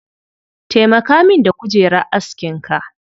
Taimaka min da kujerar askinka